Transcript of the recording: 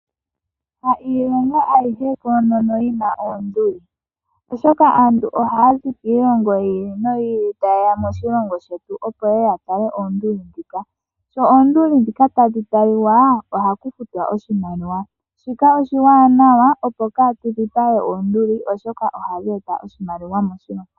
Yayilongo ayihe koonono yina oonduli. Oshoka aantu oha zi kiilongo yiili noyi ili tayeya moshilongo shetu ya tale oonduli dhika. Sho oonduli dhika tadhi taliwa oha ku futiwa oshimaliwa. Shika oshiwanawa opo kaatu dhipage we oonduli oshoka ohadhi eta oshimaliwa moshilongo.